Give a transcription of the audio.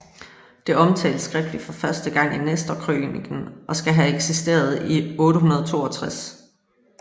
Det omtales skriftligt for første gang i Nestorkrøniken og skal have eksisteret i 862